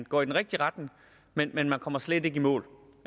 går i den rigtige retning men men man kommer slet ikke i mål